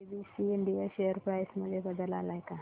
ABC India share price मध्ये बदल आलाय का